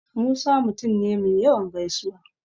Musa mutum ne me yawan gaisuwa.